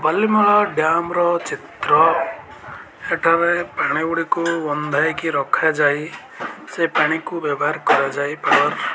ମଲିମ୍ହା dam ର ଚିତ୍ର ହେଠାରେ ପାଣି ଗୁଡିକୁ ବନ୍ଧା ହୋଇ ରଖା ଯାଇ ସେ ପାଣିକୁ ବ୍ୟବହାର କରାଯାଇ ପା --